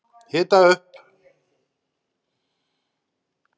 Hita upp